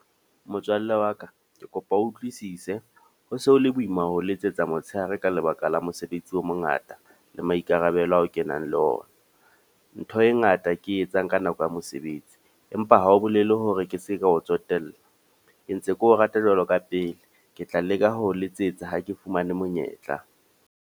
Motswalle wa ka, ke kopa o utlwisise. Ho se ho le boima ho letsetsa motshehare ka lebaka la mosebetsi o mongata le maikarabelo ao kenang le ona. Ntho e ngata ke e etsang ka nako ya mosebetsi. Empa ha ho bolele hore ke se ke o tsotella. Ke ntse keo rata jwalo ka pele. Ke tla leka ho o letsetsa ha ke fumane monyetla.